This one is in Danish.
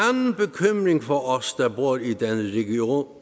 en for os